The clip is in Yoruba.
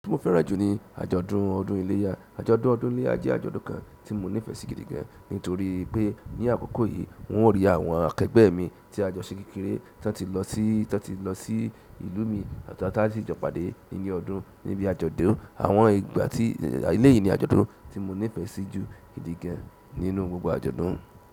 Tí mo fẹ́ràn jù ní àjọ̀dún ọdún iléyá. Àjọ̀dún ọdún iléyá jẹ́ àjọ̀dún kan tí mo nífẹ̀ẹ́ sí gidi gan, nítorí pé ní àkókò yìí n o rí àwọn akẹgbẹ́ mi tí a jọ ṣe kékeré tan ti lọ sí, tan ti lọ sí ìlú mi àti àwọn tàtí jọ pàdé níle ọdún níbi àjọ̀dún. Àwọn ìgbà tí eléyìí ni àjọ̀dún tí mo nífẹ̀ẹ́ sí jù gidi gan nínú gbogbo àjọ̀dún.